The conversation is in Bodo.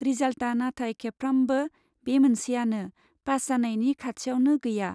रिजाल्टआ नाथाय खेबफ्रामबो बे मोनसेआनो, पास जानायनि खाथियावनो गैया।